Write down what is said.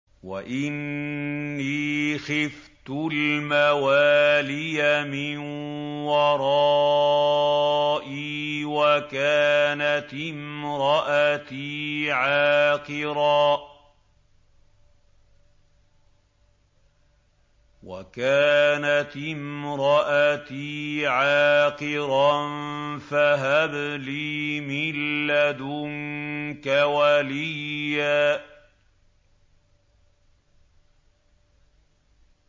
وَإِنِّي خِفْتُ الْمَوَالِيَ مِن وَرَائِي وَكَانَتِ امْرَأَتِي عَاقِرًا فَهَبْ لِي مِن لَّدُنكَ وَلِيًّا